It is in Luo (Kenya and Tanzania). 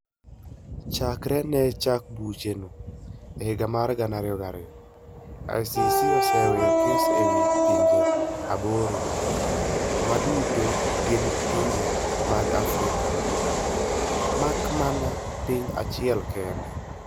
Chakre ne chak bucheno e higa mar 2002, ICC oseyawo kes e wi pinje aboro - ma duto gin pinje mag Afrika mak mana piny achiel kende.